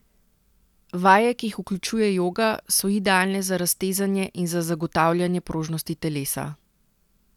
Vaje, ki jih vključuje joga, so idealne za raztezanje in za zagotavljanje prožnosti telesa.